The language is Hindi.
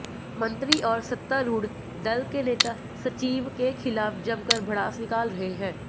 मंत्री और सत्तारूढ़ दल के नेता सचिव के खिलाफ जमकर भड़ास निकाल रहे हैं